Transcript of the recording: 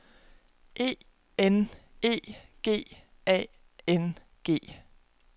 E N E G A N G